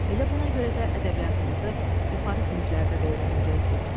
Elə buna görə də ədəbiyyatımızı yuxarı siniflərdə də öyrənəcəksiniz.